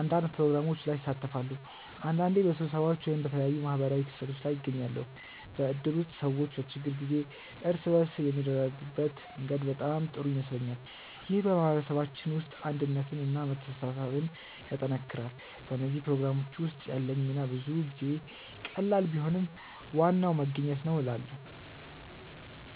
አንዳንድ ፕሮግራሞች ላይ እሳተፋለሁ። አንዳንዴ በስብሰባዎች ወይም በተለያዩ ማህበራዊ ክስተቶች ላይ እገኛለሁ። በእድር ውስጥ ሰዎች በችግር ጊዜ እርስ በርስ የሚረዳዱበት መንገድ በጣም ጥሩ ይመስለኛል። ይህ በማህበረሰባችን ውስጥ አንድነትን እና መተሳሰብን ያጠናክራል። በእነዚህ ፕሮግራሞች ውስጥ ያለኝ ሚና ብዙ ጊዜ ቀላል ቢሆንም ዋናው መገኘት ነው እላለ